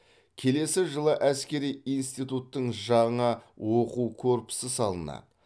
келесі жылы әскери институттың жаңа оқу корпусы салынады